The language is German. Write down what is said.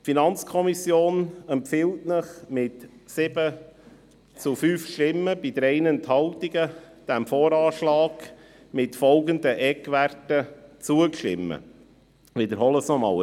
Die FiKo empfiehlt Ihnen mit 7 zu 5 Stimmen bei 3 Enthaltungen, dem VA mit folgenden Eckwerten zuzustimmen – ich wiederhole diese noch einmal: